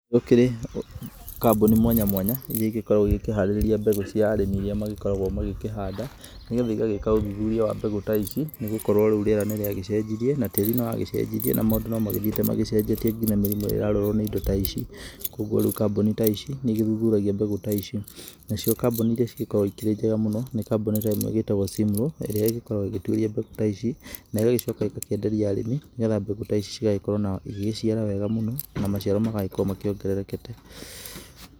Gũkĩrĩ kambuni mwanya mwanya iria igĩkoragwo igĩkĩharĩria mbegũ cia arĩmi iria magĩkoragwo magĩkĩhanda, nĩgetha igagĩka ũthuthuria wa mbegũ ta ici nĩ gũkorwo rĩu rĩera nĩ rĩagĩcenjirie na tĩri nĩ wagĩcenjirie na maũndũ no magĩthiĩte magĩcenjetie nginya mĩrimũ ĩrĩa ĩrarwarwo nĩ indo ta ici. Kũguo riũ kambuni ta ici nĩ igĩthuthuragia mbegũ ta ici. Nacio kambuni iria cigĩkoragwo ikĩrĩ njega mũno, nĩ kambuni ta ĩmwe ĩgĩtagwo Cimro, ĩrĩa ĩgĩkoragwo ĩgĩtuĩria mbegũ ta ici, na ĩgagicoka ĩgakĩenderia arĩmi nĩgetha mbegũ ta ici cigagĩkorwo igĩgĩciara wega mũno na maciaro magagĩkorwo makĩongererekete.